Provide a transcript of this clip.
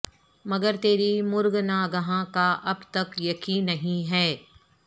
مگر تری مرگ ناگہاں کا اب تک یقیں نہیں ہے